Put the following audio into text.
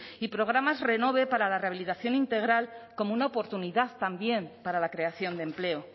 y programas renove para la rehabilitación integral como una oportunidad también para la creación de empleo